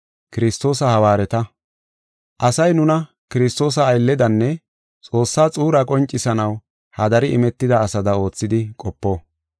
Asay nuna Kiristoosa aylledanne Xoossa xuura qoncisanaw hadari imetida asada oothidi qopo.